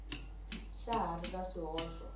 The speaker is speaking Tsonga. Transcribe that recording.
xa ha ri na swihoxo